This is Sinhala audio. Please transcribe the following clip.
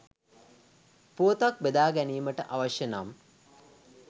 පුවතක් බෙදා ගැනීමට අවශ්‍ය නම්